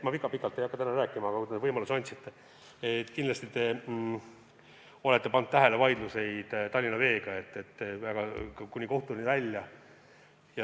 Ma väga pikalt ei hakka täna rääkima, aga kui te selle võimaluse andsite, siis kindlasti märgin ära vaidluseid Tallinna Veega, kuni kohtuni välja.